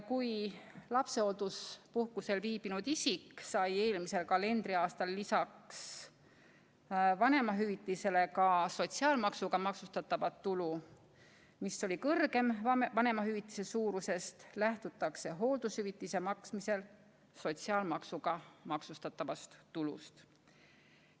Kui lapsehoolduspuhkusel viibinud inimene sai eelmisel kalendriaastal lisaks vanemahüvitisele ka sotsiaalmaksuga maksustatavat tulu, mis oli kõrgem vanemahüvitise suurusest, lähtutakse hooldushüvitise maksmisel sotsiaalmaksuga maksustatavast tulust.